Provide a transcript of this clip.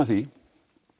því